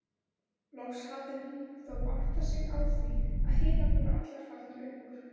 Loks hafði hún þó áttað sig á því að hinar voru allar farnar upp úr.